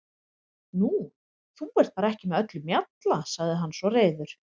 Nú, þú ert bara ekki með öllum mjalla, sagði hann svo reiður.